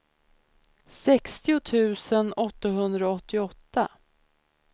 sextio tusen åttahundraåttioåtta